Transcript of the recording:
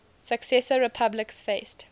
successor republics faced